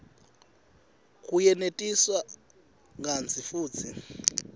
kuyenetisa kantsi futsi